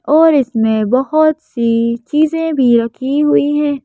और इसमें बहुत सी चीजें भी रखी हुई हैं।